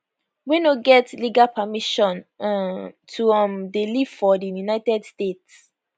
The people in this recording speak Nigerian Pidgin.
wey no get legal permission um to um dey live for di united states